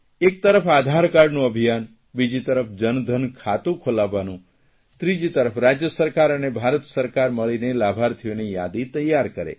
એક તરફ આધારકાર્ડનું અભિયાન બીજી તરફ જનધન ખાતું ખોલાવવાનું ત્રીજી તરફ રાજય સરકાર અને ભારત સરકાર મળીને લાભાર્થીઓની યાદી તૈયાર કરે